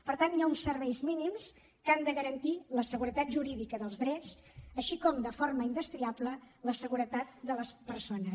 per tant hi ha uns serveis mínims que han de garantir la seguretat jurídica dels drets com també de forma indestriable la seguretat de les persones